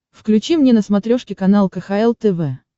включи мне на смотрешке канал кхл тв